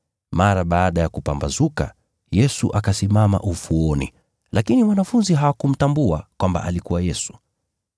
Mara baada ya kupambazuka, Yesu akasimama ufuoni, lakini wanafunzi hawakumtambua kwamba alikuwa Yesu.